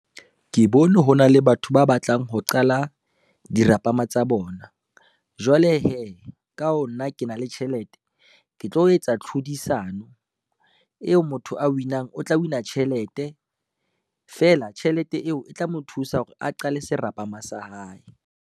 Ke bone ho na le batho ba batlang ho qala dirapama tsa bona. Jwale hee ka ho nna, ke na le tjhelete ke tlo etsa tlhodisano eo motho a win-ang, o tla win-a tjhelete, feela tjhelete eo e tla mo thusa hore a qale serapama sa hae.